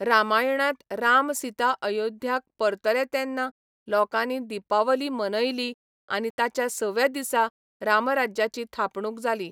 रामायणांत राम सीता अयोध्याक परतले तेन्ना लोकांनी दीपावली मनयली आनी ताच्या सव्या दिसा रामराज्याची थापणूक जाली.